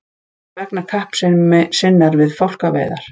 vegna kappsemi sinnar við fálkaveiðar.